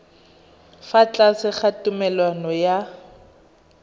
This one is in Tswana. fa tlase ga tumalano ya